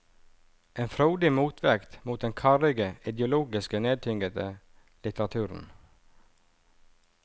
En frodig motvekt mot den karrige, ideologisk nedtyngede litteraturen.